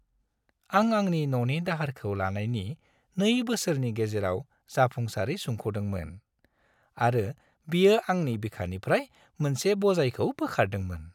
आं आंनि न'नि दाहारखौ लानायनि 2 बोसोरनि गेजेराव जाफुंसारै सुख'दोंमोन आरो बियो आंनि बिखानिफ्राय मोनसे बजायखौ बोखारदोंमोन।